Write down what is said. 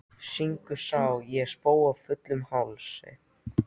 Syngur Sá ég spóa fullum hálsi.